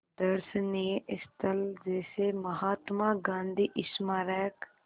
दर्शनीय स्थल जैसे महात्मा गांधी स्मारक